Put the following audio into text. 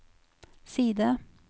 side